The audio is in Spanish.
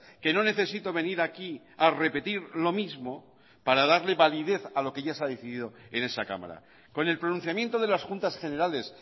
que no necesito venir aquí ha repetir lo mismo para darle validez a lo que ya se ha decidido en esa cámara con el pronunciamiento de las juntas generales